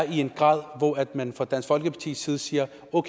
en grad hvor man fra dansk folkepartis side siger